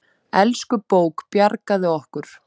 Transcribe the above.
Elsku bók, bjargaðu okkur.